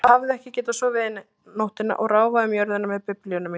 Ég hafði ekki getað sofið eina nóttina og ráfaði um jörðina með Biblíuna mína.